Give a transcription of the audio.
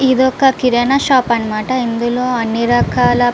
ఇది ఒక కిరణం షాప్ అన్నమాట. ఇందులో అన్ని రకాల --